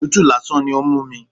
Òtútù lásán ni ó ń mú mi.